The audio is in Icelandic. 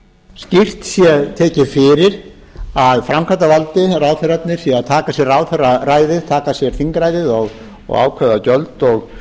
skýrt sé tekið fyrir að framkvæmdarvaldið ráðherrarnir séu að taka sér ráðherraræði séu að taka sér þingræðið og ákveða gjöld og